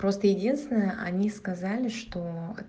просто единственное они сказали что